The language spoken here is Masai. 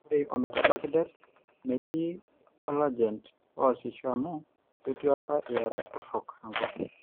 Ore ometabaiki det, metii olagent oasisho amu ketii apa iarat torok enkop.